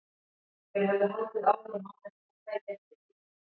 Þeir höfðu haldið áfram án þess að hann tæki eftir því.